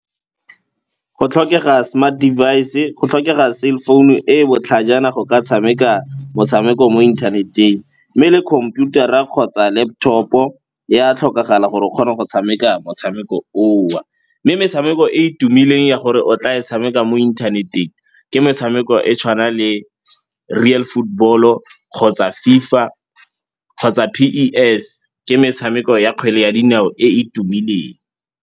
Go tlhokega smart device-e, go tlhokega cell phone-u e e botlhajana go ka tshameka motshameko mo inthaneteng mme le khomputara kgotsa laptop-o ya tlhokagala gore o kgone go tshameka motshameko o. Mme metshameko e e tumileng ya gore o tla e tshameka mo inthaneteng ke metshameko e tshwana le Real Football-o kgotsa FIFA kgotsa P_E_S ke metshameko ya kgwele ya dinao e e tumileng.